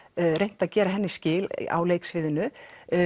reynt að gera henni skil á leiksviðinu